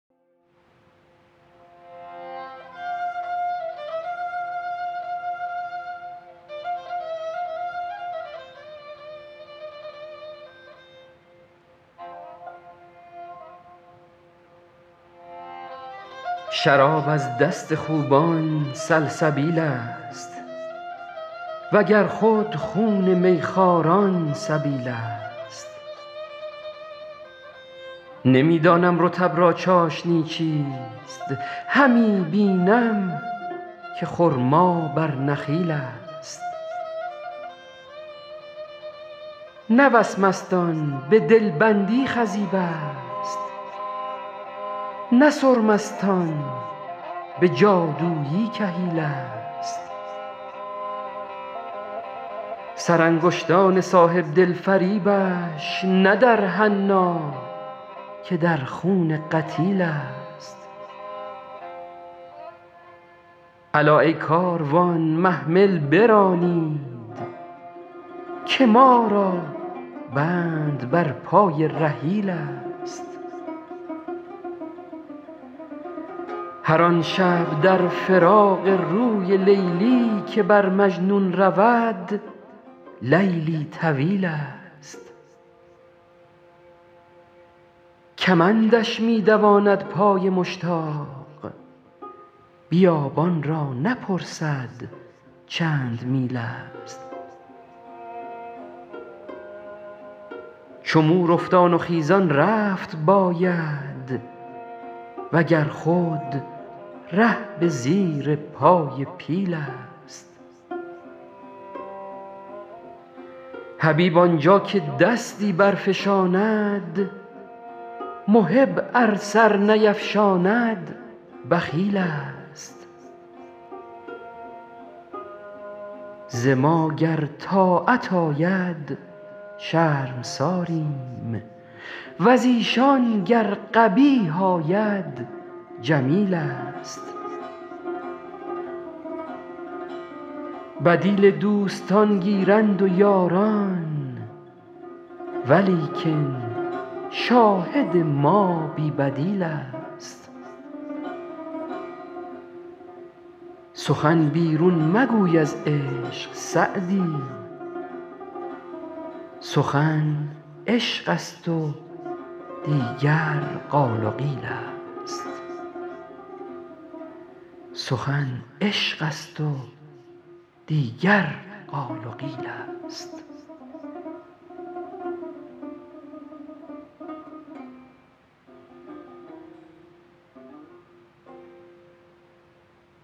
شراب از دست خوبان سلسبیل ست و گر خود خون می خواران سبیل ست نمی دانم رطب را چاشنی چیست همی بینم که خرما بر نخیل ست نه وسمست آن به دل بندی خضیب ست نه سرمست آن به جادویی کحیل ست سرانگشتان صاحب دل فریبش نه در حنا که در خون قتیل ست الا ای کاروان محمل برانید که ما را بند بر پای رحیل ست هر آن شب در فراق روی لیلی که بر مجنون رود لیلی طویل ست کمندش می دواند پای مشتاق بیابان را نپرسد چند میل ست چو مور افتان و خیزان رفت باید و گر خود ره به زیر پای پیل ست حبیب آن جا که دستی برفشاند محب ار سر نیفشاند بخیل ست ز ما گر طاعت آید شرمساریم و ز ایشان گر قبیح آید جمیل ست بدیل دوستان گیرند و یاران ولیکن شاهد ما بی بدیل ست سخن بیرون مگوی از عشق سعدی سخن عشق ست و دیگر قال و قیل ست